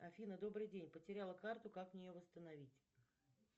афина добрый день потеряла карту как мне ее восстановить